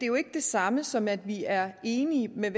jo ikke det samme som at vi er enige med